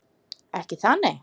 Ekki það nei?